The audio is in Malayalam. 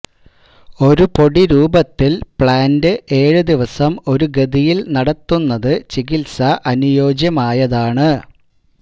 ഒരു പൊടി രൂപത്തിൽ പ്ലാന്റ് ഏഴു ദിവസം ഒരു ഗതിയിൽ നടത്തുന്നത് ചികിത്സ അനുയോജ്യമായതാണ്